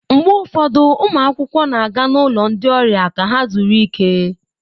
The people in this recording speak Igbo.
Mgbe ụfọdụ ụmụ akwụkwọ na-aga n'ụlọ ndị ọrịa ka ha zuru ike.